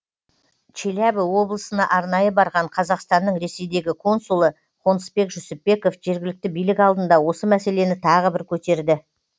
челябі облысына арнайы барған қазақстанның ресейдегі консулы қонысбек жүсіпбеков жергілікті билік алдында осы мәселені тағы бір көтерді